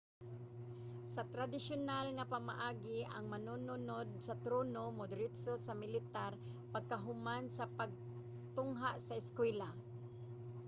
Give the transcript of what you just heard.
sa tradisyunal nga pamaagi ang manununod sa trono modiretso sa militar pagkahuman sa pagtungha sa eskwelahan